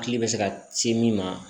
Hakili bɛ se ka ci min ma